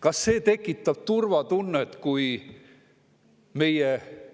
Kas see tekitab turvatunnet, kui meie